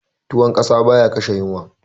Tuwon ƙasa baya kashe yunwa